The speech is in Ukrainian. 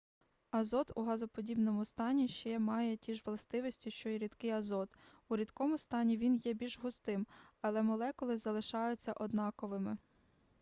азот у газоподібному стані ще має ті ж властивості що і рідкий азот у рідкому стані він є більш густим але молекули залишаються однаковими